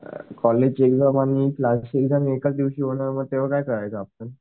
college ची exam आणि class ची एक्साम एकाच दिवशी होणार मग तेव्हा काय करायचं आपण